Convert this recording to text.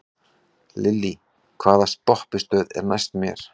Lillý, hvaða stoppistöð er næst mér?